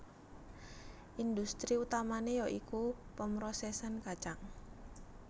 Industri utamané ya iku pemrosèsan kacang